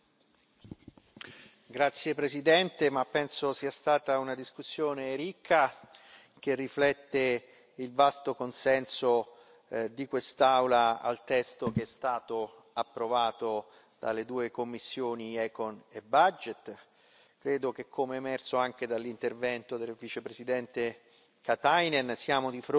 Signora Presidente, onorevoli colleghi, penso sia stata una discussione ricca, che riflette il vasto consenso di quest'Aula al testo che è stato approvato dalle due commissioni ECON e BUDG. Credo che, come emerso anche dall'intervento del Vicepresidente Katainen, siamo di fronte a un